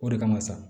O de kama sa